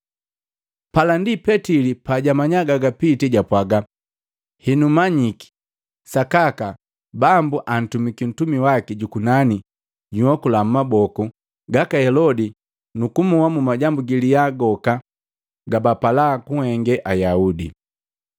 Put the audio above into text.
Pala ndi Petili pajamanya gagapitii japwaga, “Henu manyiki sakaka Bambu antumiki Ntumi waki jukunani junhokula mmaboku gaka Helodi nukumoha mmajambu gilya goka gabapala kunhenge Ayaudi.”